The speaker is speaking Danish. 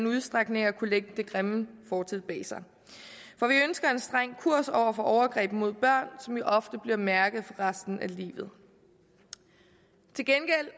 udstrækning kan lægge den grimme fortid bag sig for vi ønsker en streng kurs over for overgreb mod børn som jo ofte bliver mærket for resten af livet til gengæld